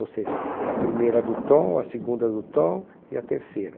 Ou seja, a primeira do tom, a segunda do tom e a terceira.